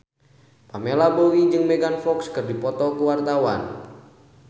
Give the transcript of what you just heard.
Pamela Bowie jeung Megan Fox keur dipoto ku wartawan